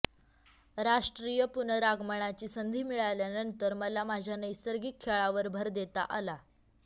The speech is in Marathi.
राष्ट्रीय पुनरागमनाची संधी मिळाल्यानंतर मला माझ्या नैसर्गिक खेळावर भर देता आला